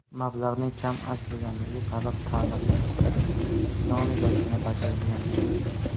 Mablag‘ning kam ajratilganligi sabab ta’mirlash ishlari nomigagina bajarilgandi.